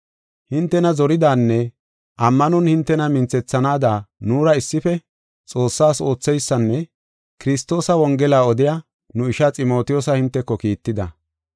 Hintena zoranaadanne ammanon hintena minthethanaada nuura issife Xoossas ootheysanne Kiristoosa Wongela odiya nu ishaa Ximotiyoosa hinteko kiitida.